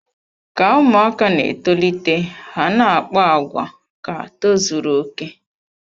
Ka ụmụaka na-etolite, ha na-akpa àgwà ka tozuru okè.